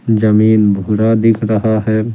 जमीन भूरा दिख रहा है ।